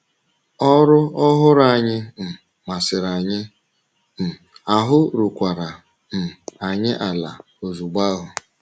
Ọrụ ọhụrụ anyị um masịrị anyị, um ahụ́ rukwara um anyị ala ozugbo ahụ.